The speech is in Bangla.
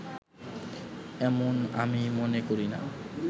এমন আমি মনে করিনা